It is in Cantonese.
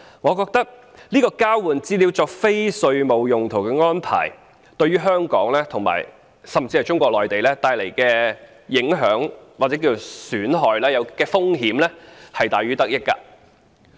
我覺得這項交換資料作非稅務用途的安排對香港，甚至是中國內地構成的影響、損害及風險是大於得益的。